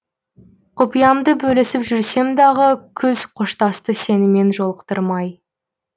құпиямды бөлісіп жүрсем дағы күз қоштасты сенімен жолықтырмай